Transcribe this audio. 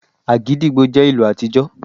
Agidigbo jẹ́ ìlù àtijọ